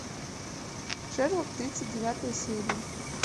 шерлок тридцать девятая серия